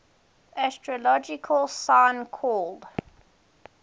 astrological sign called